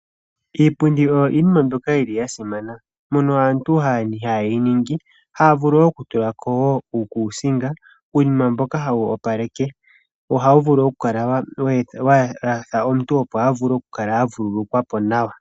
Iipundi oyo iinima mbyoka yi li ya simana mono aantu haye yi ningi, haa vulu oku tula ko wo uukuusinga uunima mboka hawu opaleke, wo ohawu vulu oku kala wa yalwa omuntu opo a vule oku kala a vululukwe po nawa.